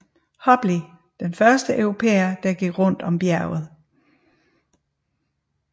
Hobley den første europæer der gik rundt om bjerget